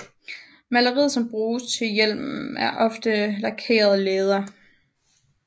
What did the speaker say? Materialet som bruges til hjelmen er ofte lakeret læder